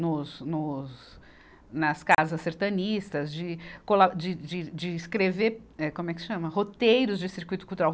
Nos, nos, nas casas sertanistas, de cola, de, de, de escrever, eh, como é que chama, roteiros de circuito cultural.